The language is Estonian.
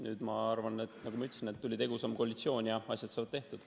Nüüd, ma arvan, nagu ma ütlesin, tuli tegusam koalitsioon ja asjad saavad tehtud.